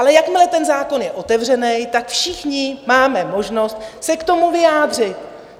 Ale jakmile ten zákon je otevřený, tak všichni máme možnost se k tomu vyjádřit.